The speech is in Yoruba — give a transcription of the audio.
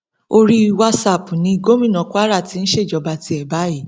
orí wàsápù ni gómìnà kwara ti ń ṣèjọba tiẹ báyìí